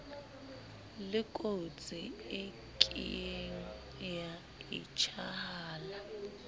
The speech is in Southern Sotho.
lekotsi e kieng ya etshahala